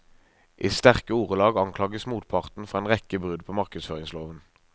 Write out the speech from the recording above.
I sterke ordelag anklages motparten for en rekke brudd på markedsføringsloven.